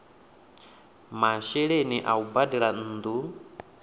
masheleni a u badela nnu